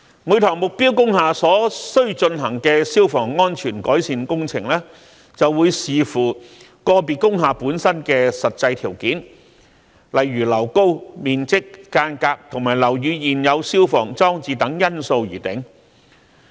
每幢目標工廈所須進行的消防安全改善工程，會視乎個別工廈本身的實際條件，例如樓高、面積、隔間及樓宇現有消防裝置等因素而定。